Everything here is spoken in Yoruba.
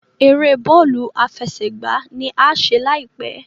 èrè Bọ́ọ̀lù àfẹsẹ̀gbá ní a ṣe láìpé.